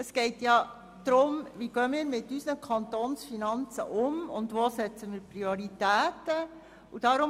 Es geht darum, wie wir mit unseren Kantonsfinanzen umgehen und wo wir die Prioritäten setzen.